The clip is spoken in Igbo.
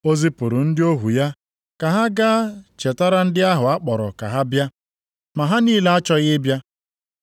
O zipụrụ ndị ohu ya ka ha gaa chetara ndị ahụ a kpọrọ ka ha bịa. Ma ha niile achọghị ịbịa.